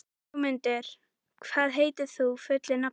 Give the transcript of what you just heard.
Ögmundur, hvað heitir þú fullu nafni?